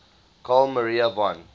carl maria von